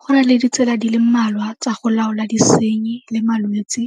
Go na le ditsela di le mmalwa tsa go laola disenyi le malwetse